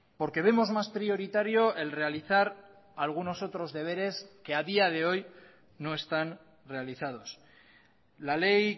porque vemos más prioritario el realizar algunos otros deberes que a día de hoy no están realizados la ley